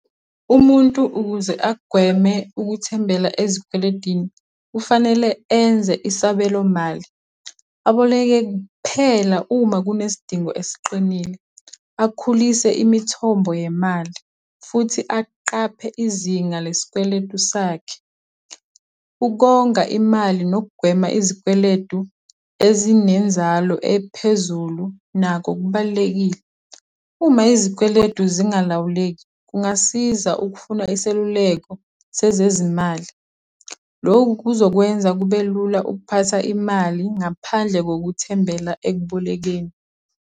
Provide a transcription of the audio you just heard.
Umuntu ukuze agweme ukuthembela ezikweledini kufanele enze isabelomali, aboleke kuphela uma kunesidingo esiqinile, akhulise imithombo yemali, futhi aqaphe izinga lesikweletu sakhe. Ukonga imali nokugwema izikweletu ezinenzalo ephezulu nakho kubalulekile. Uma izikweletu zingalawuleki, kungasiza ukufuna iseluleko sezezimali. Loku kuzokwenza kube lula ukuphatha imali ngaphandle kokuthembela ekubolekeni.